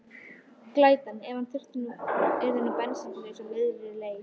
Glætan, ef hann yrði nú bensínlaus á miðri leið!